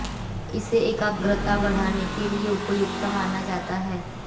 इसे एकाग्रता बढाने के लिए उपयुक्त माना जाता है